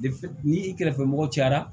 Defe ni i kɛrɛfɛ mɔgɔ cayara